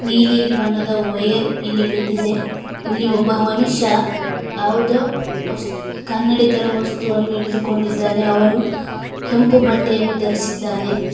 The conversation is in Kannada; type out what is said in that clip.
ನೀಲಿ ಬಣ್ಣದ ವಯರ್ ಇಲ್ಲಿ ಬಿದ್ದಿದೆ ಇಲ್ಲಿ ಒಬ್ಬ ಮನುಷ್ಯ ಯಾವುದೊ ವಸ್ತ ಕನ್ನಡಿ ತರ ವಸ್ತುವನ್ನು ಹಿಡಿದುಕೊಂಡಿದ್ದಾನೆ ಅವನು ಕೆಂಪು ಬಟ್ಟೆಯನ್ನು ಧರಸಿದ್ದಾನೆ.